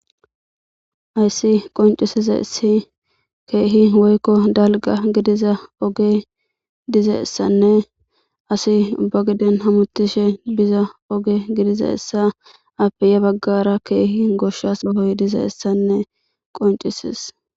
Ayssi qoncisiza issi keehi woykko dalga gidiza oge diza essanne asi uba giden hamutishe biza oge gidiza essa appe ya baggara keehi goshshas bahoy diza essanne qoncisis.